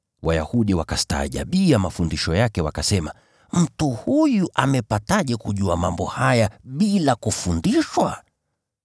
Wayahudi wakastaajabia mafundisho yake wakasema, “Mtu huyu amepataje kujua mambo haya bila kufundishwa?”